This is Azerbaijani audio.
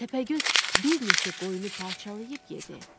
Təpəgöz bir neçə qoyunu parçalayıb yedi.